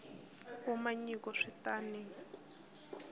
kuma nyiko swi ta n